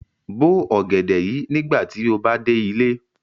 Bo ogẹdẹ yii nigbati o ba de ile!